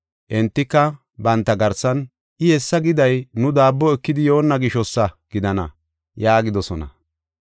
Entika banta garsan, “I hessa giday nu daabbo ekidi yoonna gishosa gidana” yaagidosona.